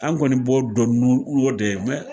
An kɔni b'o dɔn n'o n'o de ye mɛ